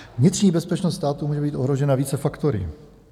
Vnitřní bezpečnost státu může být ohrožena více faktory.